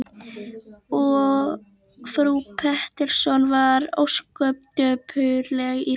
Og frú Pettersson varð ósköp dapurleg í framan.